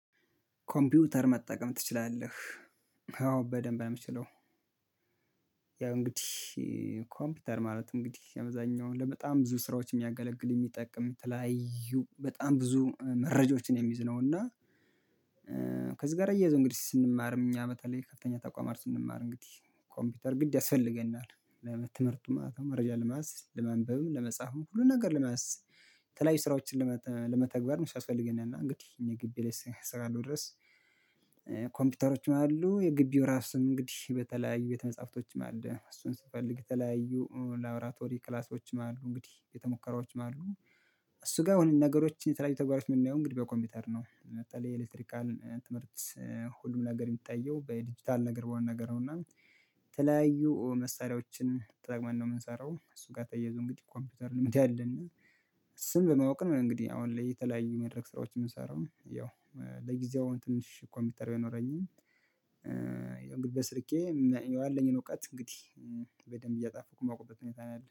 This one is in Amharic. ኮምፒውተር መጠቀም ትችላለህ? አዎ በደንብ ነው የምችለው። ያው እንግዲህ ኮምፒውተር ማለት እንግዲህ በአብዛሀኛው አለ በጣም ብዙ ስራዎች የሚያገለግል የሚጠቅም የተለያዩ በጣም ብዙ መረጃዎችን የሚይዝ ነው። እና ከዚህ ጋር እያይዞ እንግዲህ ስንማርም እኛ በተለይ ከፍተኛ ተቋማት ስንማር እንግዲህ ኮምፒውተር ግድ ያስፈልገናል ለትምህርቱ ማለት ነው መረጃ ለመያዝ ለማንበብም ለመጻፍም ሁሉን ነገር ለመያዝ። የተለያዩ ስራዎችን ለመተግበ ሲያስፈልገንና እንግዲህ ይሄን ግቢ ላይ እሰራለሁ ድረስ። ኮምፒውተሮችም አሉ የግቢው ራሱን እንግዲህ የተለያዩ ቤተ መጻፍቶችም አሉ እሱን ስፈልግ የተለያዩ ላብላቶሪ ክላሶችም አሉ እንግዲህ ቤተ ሙከራዎችም አሉ። እሱ ጋር ሁሉን ነገሮችን የተለያዩ ተግባሮችን የምናየው እንግዲህ በኮምፒውተር ነው በተለይ የኤሌክትሪካል ትምህርት። ሁሉም ነገር የሚታየው በዲጂታል ነገር በሆነ ነገር ነው። እና የተለያዩ መሳሪያዎችን ተጠቅመን ነው የምንሰራው እሱን ጋር ተያይዞ እንግዲህ ኮምፒውተር ልምድ አለና እና ስም በማወቅ ነው። እንግዲህ አሁን ላይ የተለያዩ መድረክ ስራዎች የምንሰራው ያው ለጊዜው ትንሽ ኮምፒውተር ባይኖረኝም። ያው በስልኬ ያለኝን እውቀት እንግዲህ በደንብ እየጣፍኩ ማቆም ሁኔታ ነው ያለሁት